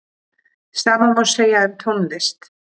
Sama má segja um tónlist.